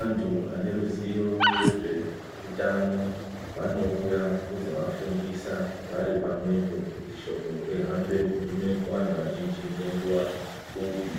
antu ane ruziyo rwezve utano vanoiya kuzo vafundisa vari pamwepo kuti shoko ri hambe kugume ku antu azhinji nge nguva pfupi.